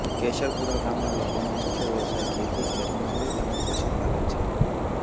કેશરપુર ગામના લોકોનો મુખ્ય વ્યવસાય ખેતી ખેતમજૂરી તેમ જ પશુપાલન છે